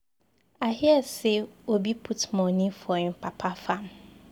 I hear say Obi put money for im papa farm.